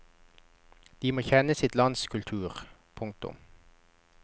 De må kjenne sitt lands kultur. punktum